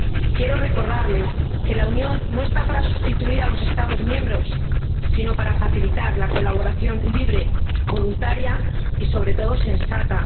Quiero recordarles que la Unión no está para sustituir a los Estados miembros, sino para facilitar la colaboración libre, voluntaria y, sobre todo, sensata.